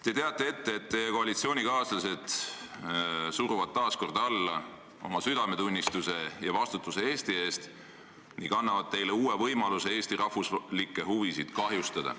Te teate ette, et teie koalitsioonikaaslased suruvad taas alla oma südametunnistuse ja vastutuse Eesti eest ning annavad teile uue võimaluse Eesti rahvuslikke huve kahjustada.